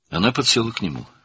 O, onun yanına oturdu.